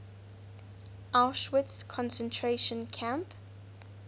auschwitz concentration camp